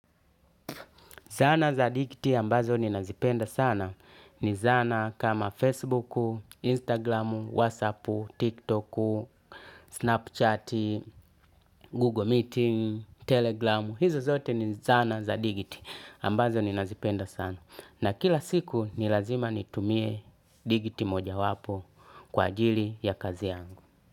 Zana za digiti ambazo ninazipenda sana, ni zana kama Facebook, Instagram, WhatsApp, TikTok, Snapchat, Google Meeting, Telegram. Hizo zote ni zana za digiti ambazo ni nazipenda sana. Na kila siku ni lazima nitumie digiti moja wapo kwa ajili ya kazi yangu.